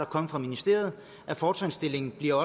kommet fra ministeriet at fortrinsstillingen bliver